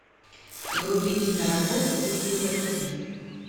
вруби киноработу в духе лекции